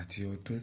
àti ọdún